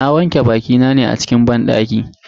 Na wanke bakina ne a cikin banɗaki.